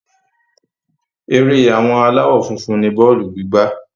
Ere àwọn aláwọ́ funfun ni bọ́ọ̀lù gígbá.